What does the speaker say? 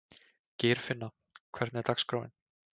Geirfinna, hvernig er dagskráin?